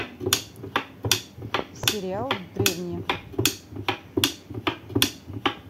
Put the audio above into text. сериал древние